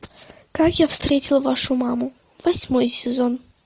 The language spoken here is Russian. как я встретил вашу маму восьмой сезон